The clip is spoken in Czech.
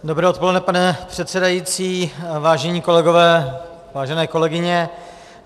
Dobré odpoledne, pane předsedající, vážení kolegové, vážené kolegyně.